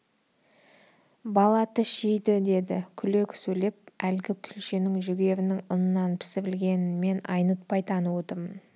бала тіс жейді деді күле сөйлеп әлгі күлшенің жүгерінің ұнынан пісірілгенін мен айнытпай танып отырмын